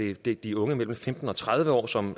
er det de unge mellem femten og tredive år som